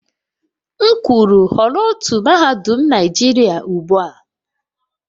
M kwuru họrọ otu mahadum Naijiria ugbua!